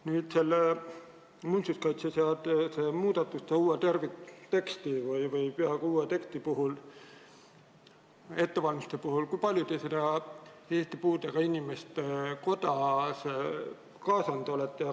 Kui palju te muinsuskaitseseaduse muudatusi, uut tervikteksti või peaaegu uut teksti ette valmistades Eesti Puuetega Inimeste Koda kaasasite?